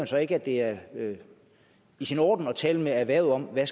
så ikke at det er i sin orden at tale med erhvervet om hvad